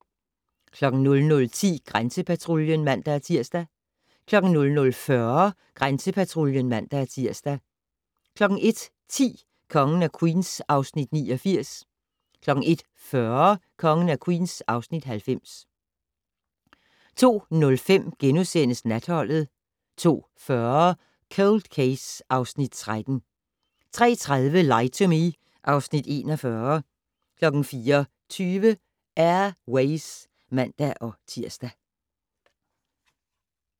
00:10: Grænsepatruljen (man-tir) 00:40: Grænsepatruljen (man-tir) 01:10: Kongen af Queens (Afs. 89) 01:40: Kongen af Queens (Afs. 90) 02:05: Natholdet * 02:40: Cold Case (Afs. 13) 03:30: Lie to Me (Afs. 41) 04:20: Air Ways (man-tir)